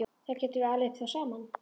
Þá gætum við alið þá upp saman.